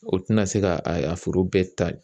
O tina se ka a foro bɛɛ ta